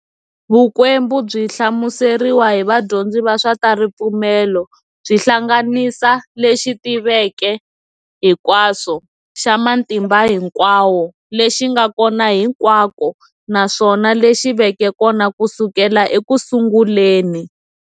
Vukwembu byi hlamuseriwa hi vadyondzi va swa taripfumelo, byi hlanganisa lexi tivaka hinkwaswo, xa matimba hinkwawo, lexi nga kona hinkwako naswona lexi veke kona kusukela e kusunguleni.